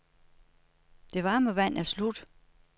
Det varme vand er slut.